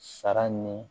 Sara ni